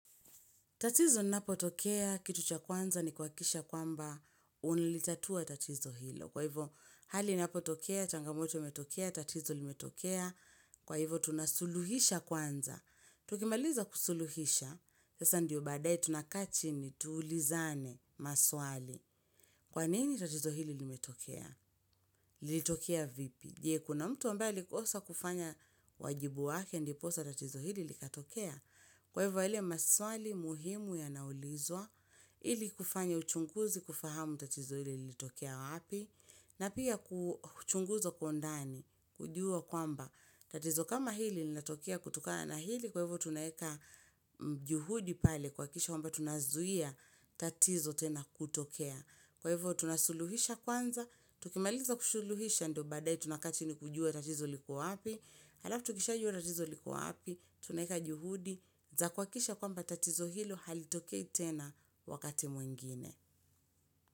Tatizo napo tokea, kitu cha kwanza ni kwa kisha kwamba unilitatua tatizo hilo. Kwa hivyo, hali napo tokea, changamoto metokea, tatizo limetokea. Kwa hivyo, tunasuluhisha kwanza. Tukimaliza kusuluhisha. Sasa ndiyo badae tunakaa chini tuulizane maswali. Kwanini tatizo hili limetokea? Lilitokea vipi? Je, kuna mtu ambaye alikosa kufanya wajibu wake, ndiposa tatizo hili likatokea. Kwa hivyo yale maswali muhimu ya naulizwa, hili kufanya uchunguzi kufahamu tatizo hili lilitokea wapi, na pia kuchunguza kwa undani, kujua kwamba tatizo kama hili li natokea kutokana na hili, kwa hivyo tunaeka juhudi pale kwa kisha wamba tunazuia tatizo tena kutokea. Kwa hivyo tunasuluhisha kwanza, tukimaliza kushuluhisha ndo badae tunakaa chini kujua tatizo likuwa api, halafu tukishaju ratizo likuwa api, tunaeka juhudi, za kwa kisha kwamba tatizo hilo halitokei tena wakati mwingine.